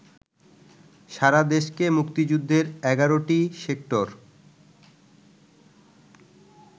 সারাদেশকে মুক্তিযুদ্ধের ১১টি সেক্টর